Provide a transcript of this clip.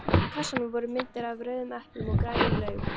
Á kassanum voru myndir af rauðum eplum og grænum laufum.